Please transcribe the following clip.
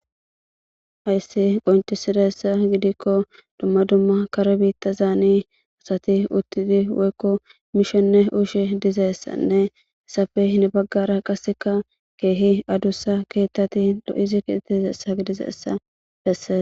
Hayssi qonccissizayssa gidikko dumma dumma kare biiththathaanii asathi uththidi woykko mushone usho dizayssanne ethappe hini baggaara qassikka keehi adussa keeththathi lo7zi gidizeessa bessees.